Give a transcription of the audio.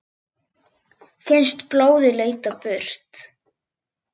Finnst blóðið leita burt.